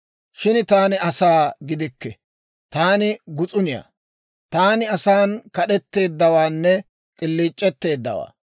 Shin taani asaa gidikke; taani gus'uniyaa. Taani asan kad'etteeddawaanne k'iliic'etteeddawaa.